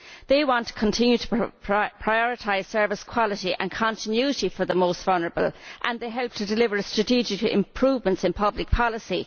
They want to continue to prioritise service quality and continuity for the most vulnerable and they help to deliver strategic improvements in public policy.